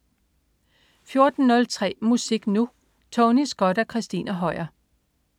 14.03 Musik Nu! Tony Scott og Christina Høier